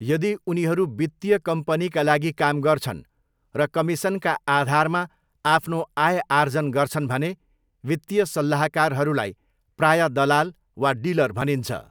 यदि उनीहरू वित्तीय कम्पनीका लागि काम गर्छन् र कमिसनका आधारमा आफ्नो आय आर्जन गर्छन् भने वित्तीय सल्लाहकारहरूलाई प्राय दलाल वा डिलर भनिन्छ।